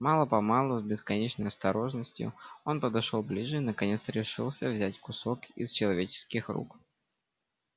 мало помалу с бесконечной осторожностью он подошёл ближе и наконец решился взять кусок из человеческих рук